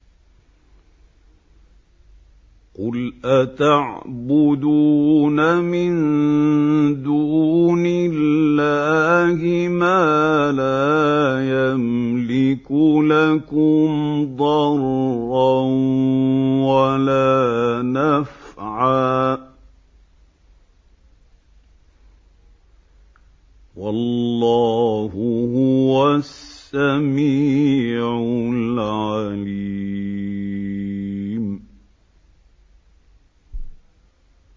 قُلْ أَتَعْبُدُونَ مِن دُونِ اللَّهِ مَا لَا يَمْلِكُ لَكُمْ ضَرًّا وَلَا نَفْعًا ۚ وَاللَّهُ هُوَ السَّمِيعُ الْعَلِيمُ